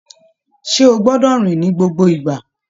Ṣe o gbọdọ rìn ni gbogbo ìgbà?